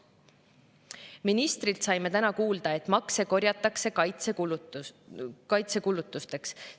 Ministrilt saime täna kuulda, et makse korjatakse kaitsekulutusteks.